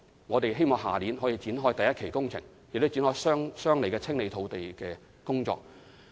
我們希望明年可以展開第一期工程，亦展開相應的清理土地的工作。